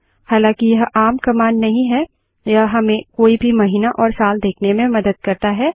हालाँकि यह आम कमांड नहीं है यह हमें कोई भी महीना और साल देखने में मदद करता है